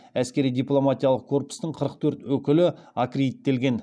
әскери дипломатиялық корпустың қырық төрт өкілі аккредиттелген